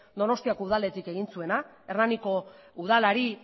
donostiako udaletik egin zuena hernaniko udalari